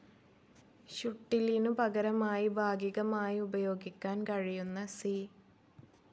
ഷുട്ടിലിനു പകരമായി ഭാഗികമായി ഉപയോഗിക്കാൻ കഴിയുന്ന സി.